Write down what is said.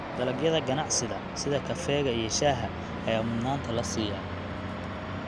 Dalagyada ganacsiga sida kafeega iyo shaaha ayaa mudnaanta la siiyaa.